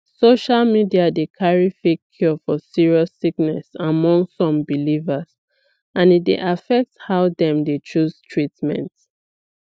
social media dey carry fake cure for serious sickness among some believers and e dey affect how dem dey choose treatment